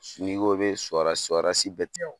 S n'i ko i be so so bɛɛ t